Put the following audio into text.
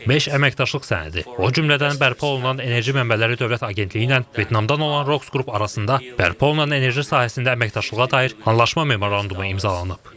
Beş əməkdaşlıq sənədi, o cümlədən bərpa olunan enerji mənbələri Dövlət Agentliyi ilə Vyetnamdan olan Roxs qrup arasında bərpa olunan enerji sahəsində əməkdaşlığa dair anlaşma memorandumu imzalanıb.